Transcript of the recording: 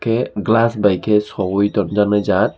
ke glass by ke sogui tonjaknai jaat.